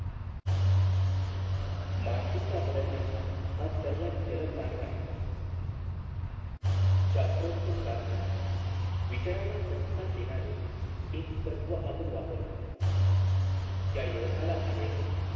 मानसिकता बदलण्याचा हा सर्वात जलद मार्ग आहे शात्रोत्त प्रार्थना विचारांना प्रतिसाद देणार एक तत्व आपण वापरतो त्या युवकाला आढळलं कि